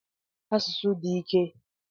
Asụsụ di ike.